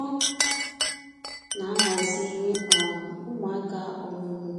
Ọ na-ahaziri um ụmụaka ọmụmụ